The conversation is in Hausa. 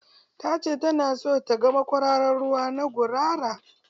Ta ce ta na son ta ga makwararar ruwa na gurara